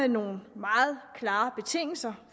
nogle meget klare betingelser